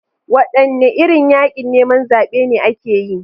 Wadanne irin yakin neman zabe ne ake yi?